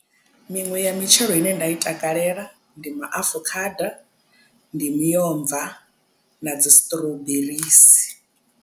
Miṅwe ya mitshelo ine nda i takalela ndi maafukhada ndi miomva na dzi strawberries.